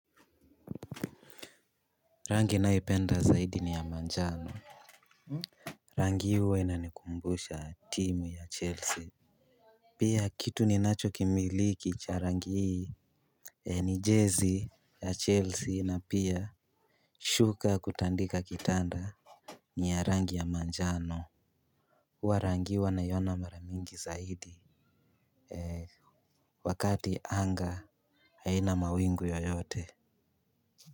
Rangi naipenda zaidi ni ya manjano rangi hii huwa inanikumbusha team ya chelsea pia kitu ninachokimiliki cha rangi hii ni jersey ya chelsea na pia shuka kutandika kitanda ni ya rangi ya manjano huwa rangi hii huwa naiona mara mingi zaidi wakati anga haina mawingu yoyote.